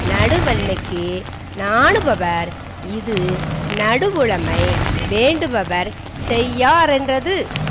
நடுவன்மைக்கு நாணுபவர் இது நடுவுலைமை வேண்டுபவர் செய்யாரென்றது